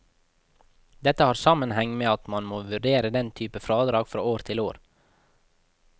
Dette har sammenheng med at man må vurdere den type fradrag fra år til år.